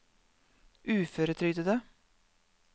uføretrygdede